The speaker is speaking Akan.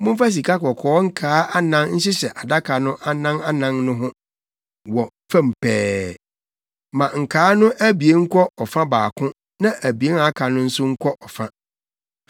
Momfa sikakɔkɔɔ nkaa anan nhyehyɛ adaka no anan anan no ho, wɔ fam pɛɛ. Ma nkaa no abien nkɔ ɔfa baako na abien a aka no nso nkɔ fa.